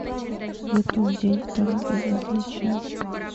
ютуб день второй безразличие